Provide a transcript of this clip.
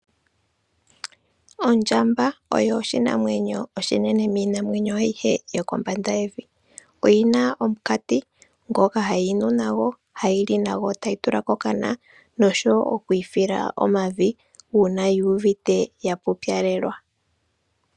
Ondjamba oyo oshinamwenyo oshinene miinamwenyo ayihe yokombanda yevi. Oyi na omunkati ngoka hayi nu nago, hayi li nago tayi tula kokana, nosho wo oku ifila omavi, uuna yu uvite ya pupyalelwa.